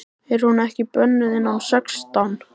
Er hún ekki bönnuð innan sextán?